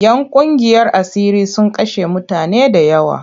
‘Yan ƙungiyar asiri sun kashe mutane da yawa.